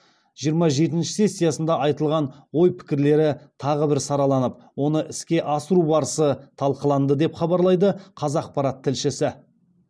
жиырма жетінші сессиясында айтылған ой пікірлері тағы бір сараланып оны іске асыру барысы талқыланды деп хабарлайды қазақпарат тілшісі